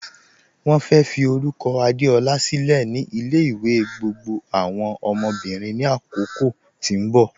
Wọ́n fẹ́ fí orúkọ̀ Adeọla sílẹ̀ ni ilẹ̀-ìwẹ̀ gbogbo awọn ọmọ́bìrín ni àkókò tí n bọ